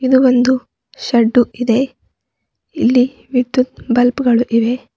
ಇದು ಒಂದು ಶೆಡ್ದು ಇದೆ ಇಲ್ಲಿ ವಿದ್ಯುತ್ ಬಲ್ಬ ಗಳು ಇವೆ.